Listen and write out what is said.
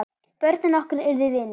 Börnin okkar urðu vinir.